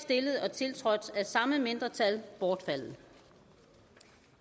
tiltrådt af samme mindretal bortfaldet